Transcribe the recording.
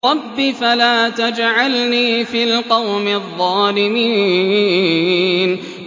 رَبِّ فَلَا تَجْعَلْنِي فِي الْقَوْمِ الظَّالِمِينَ